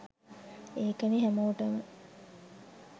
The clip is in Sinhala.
ඒකනේ හැමෝටම